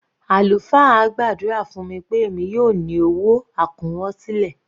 Àlùfáà gbàdúrà fún mi pé èmi yóò ní owó àkúnwọsílẹ̀.